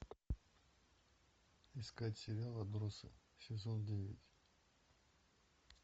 искать сериал отбросы сезон девять